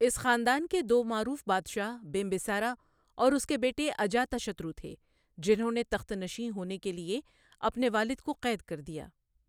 اس خاندان کے دو معروف بادشاہ بمبِسارا اور اس کے بیٹے اجاتاشترو تھے جنہوں نے تخت نشین ہونے کے لۓ اپنے والد کو قید کر دیا۔